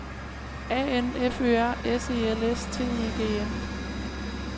A N F Ø R S E L S T E G N